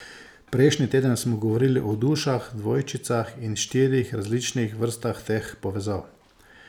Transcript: Prejšnji teden smo govorili o dušah dvojčicah in štirih različnih vrstah teh povezav.